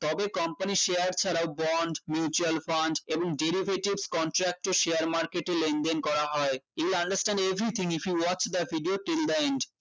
তবে company share ছাড়া bond mutual fund এবং derivatives contract এর share market এ লেনদেন করা হয় you will understand everything if you watch the video till the end